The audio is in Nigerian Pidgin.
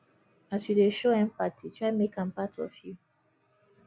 as yu dey show empathy try mek am part of yu